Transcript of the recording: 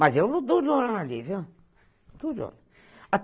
Mas eu ali, viu?